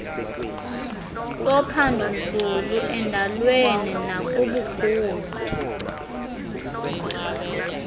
sophandonzulu endalweni nakubukhulu